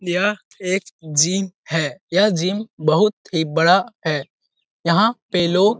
यह एक जिम है। यह जिम बहुत ही बड़ा है। यहाँ पे लोग --